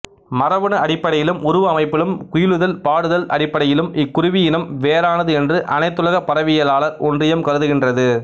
மரபணு அடிப்படையிலும் உருவ அமைப்பிலும் குயிலுதல் பாடுதல் அடிப்படையிலும் இக்குருவியினம் வேறானது என்று அனைத்துலக பறவையியலாளர் ஒன்றியம் கருதுகின்றது